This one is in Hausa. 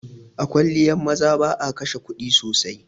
A kwalliyan maza ba'a kashe kuɗi sosai.